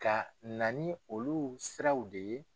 Ka na ni olu siraw de ye.